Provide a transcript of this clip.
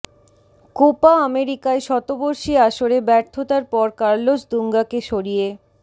Copa আমেরিকায় শতবর্ষী আসরে ব্যর্থতার পর কার্লোস দুঙ্গাকে সরিয়ে